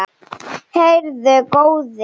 Heyrðu góði!